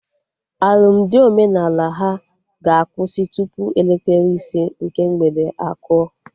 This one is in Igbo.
Alụmdi omenala ha ga-akwụsị tupu elekere ise nke mgbede akụọ